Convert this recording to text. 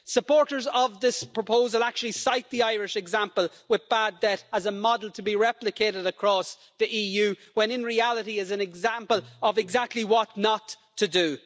Supporters of this proposal actually cite the Irish example with bad debt as a model to be replicated across the EU when, in reality, it is an example of exactly what not to do.